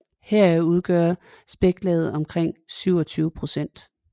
Heraf udgør spæklaget omkring 27 procent